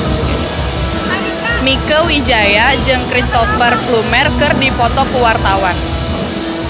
Mieke Wijaya jeung Cristhoper Plumer keur dipoto ku wartawan